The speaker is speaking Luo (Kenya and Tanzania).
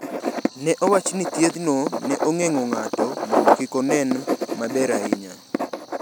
Ne owach ni thiethno ne ogeng’o ng’atno mondo kik onen maber ahinya.